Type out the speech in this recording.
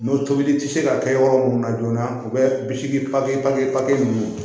N'o tobili ti se ka kɛ yɔrɔ mun na joona u bɛ bisimi ninnu